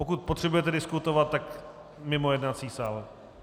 Pokud potřebujete diskutovat, tak mimo jednací sál.